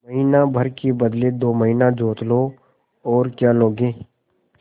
महीना भर के बदले दो महीना जोत लो और क्या लोगे